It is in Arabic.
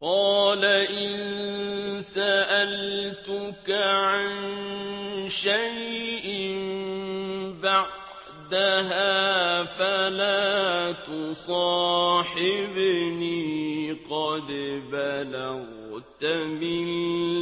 قَالَ إِن سَأَلْتُكَ عَن شَيْءٍ بَعْدَهَا فَلَا تُصَاحِبْنِي ۖ قَدْ بَلَغْتَ مِن